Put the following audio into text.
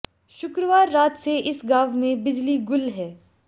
शुक्रवार रात से इस गांव में बिजली गुल है